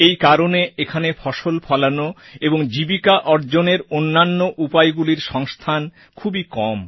এই কারণে এখানে ফসল ফলানো এবং জীবিকা অর্জনের অন্যান্য উপায়গুলির সংস্থান খুবই কম